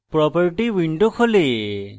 property window খোলে